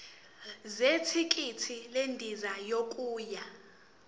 zethikithi lendiza yokuya